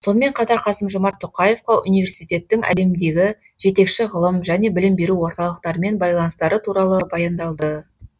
сонымен қатар қасым жомарт тоқаевқа университеттің әлемдегі жетекші ғылым және білім беру орталықтарымен байланыстары туралы баяндалды